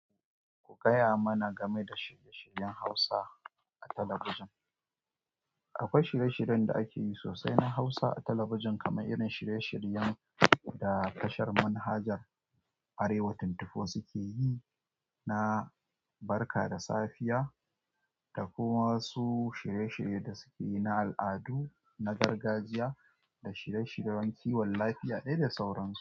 Ku gaya mana game da shirye-shiryen Hausa a talabijin. Akwai shirye-shiryen da ake yi sosai na Hausa a talabijin, kamar irin shirye-shiryen da tashar manhajar Arewa ashirin da huɗu suke yi na barka da safiya, da kuma wasu shirye-shirye da suke yi na al'adu, na gargajiya, da shirye-shiryen kiwon lafiya dai da sauransu.